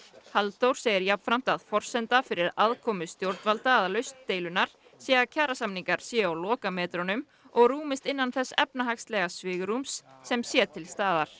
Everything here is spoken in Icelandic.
Halldór segir jafnframt að forsenda fyrir aðkomu stjórnvalda að lausn deilunnar sé að kjarasamningar séu á lokametrum og rúmist innan þess efnahagslega svigrúms sem sé til staðar